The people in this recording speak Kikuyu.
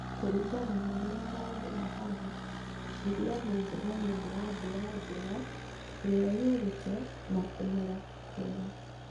Kũringana na ũrĩa maũndũ mahana, irio nĩ njega nĩũndũ wa mbura njega ĩrĩa yurĩte na kũmera kwega